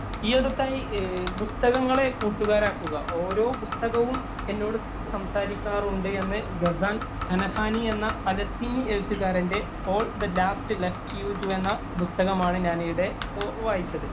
ഈയടുത്തായി പുസ്തകങ്ങളെ കൂട്ടുകാരാക്കുക. ഓരോ പുസ്തകവും എന്നോട് സംസാരിക്കാറുണ്ട് എന്ന് ഗസാന്‍ ഘനഹാനി എന്ന പാലസ്തീനി എഴുത്തുകാരന്‍റെ ഓള്‍ ദി ലാസ്റ്റ് ലെസ്ക്യൂജ് എന്ന പുസ്തകമാണ് ഞാനിവിടെ വായിച്ചത്.